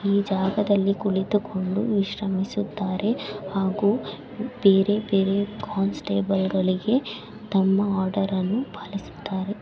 ಈ ಜಾಗದಲ್ಲಿ ಕುಳಿತು ಕೊಂಡು ವಿಶ್ರಾಂಮಿಸುತಾರೆ ಹಾಗೂ ಬೇರೆ ಬೇರೆ ಕಾನ್ಸ್ಟೇಬಲ್ ಗಳಿಗೆ ತಮ್ಮ ಆರ್ಡರ್ ಅನ್ನು ಪಾಲಿಸುತ್ತಾರೆ.